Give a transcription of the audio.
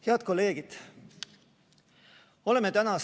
Head kolleegid!